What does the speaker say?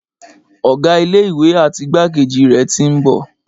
Ọ̀gá ilé ìwé àti igbákejì rẹ̀ tí ń bọ̀.